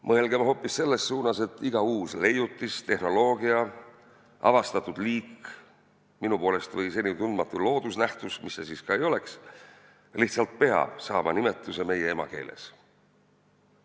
Mõelgem hoopis selles suunas, et iga uus leiutis, tehnoloogia, avastatud liik, minu poolest kas või senitundmatu loodusnähtus – mis see siis ka ei oleks – lihtsalt peab saama nimetuse meie emakeeles.